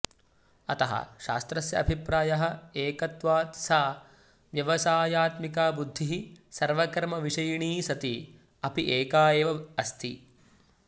अतः शास्त्रस्य अभिप्रायः एकत्वाद् सा व्यवसायात्मिका बुद्धिः सर्वकर्मविषयिणी सती अपि एका एव अस्ति